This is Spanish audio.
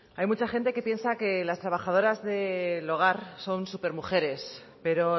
hay mucha gente que piensa que las trabajadoras del hogar son supermujeres pero